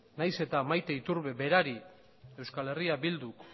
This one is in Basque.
nahiz eta maite iturbe berari euskal herria bilduk